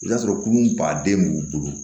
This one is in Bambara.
I b'a sɔrɔ kunun baden b'u bolo